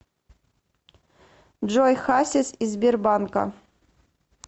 джой хасис из сбербанка